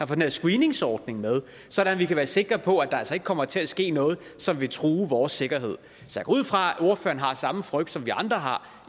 den her screeningsordning med sådan at vi kan være sikre på er der altså ikke kommer til at ske noget som vil true vores sikkerhed jeg går ud fra at ordføreren har samme frygt som vi andre har